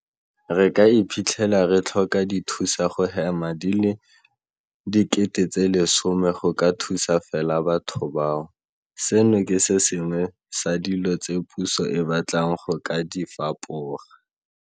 Re ka iphitlhela re tlhoka dithusa go hema di le 10 000 go ka thusa fela batho bao. Seno ke se sengwe sa dilo tse puso e batlang go ka di fapoga.